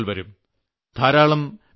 സുരക്ഷയെക്കുറിച്ച് ചർച്ചകൾവരും